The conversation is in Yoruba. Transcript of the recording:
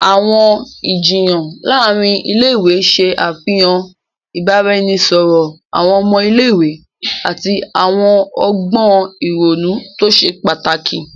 Awọn ijiyan láàrin ilé-ìwé ṣe àfihàn ibaraẹnisọrọ awọn ọmọ ilé-ìwé ati awọn ọgbọn ìrònú to ṣe pàtàkì.